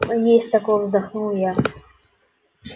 есть такое вздохнул я